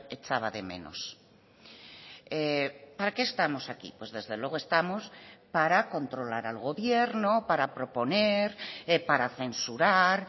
echaba de menos para qué estamos aquí pues desde luego estamos para controlar al gobierno para proponer para censurar